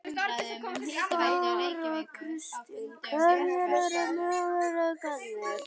Þóra Kristín: Hverjir eru möguleikarnir?